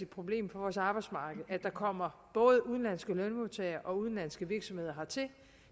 problem for vores arbejdsmarked at der kommer både udenlandske lønmodtagere og udenlandske virksomheder hertil